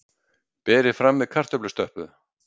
Berið fram með kartöflustöppu.